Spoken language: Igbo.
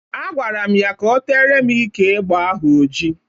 Agbara m ya ka o teere m ike egbe ahụ oji.